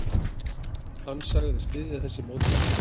Hann sagðist styðja þessi mótmæli.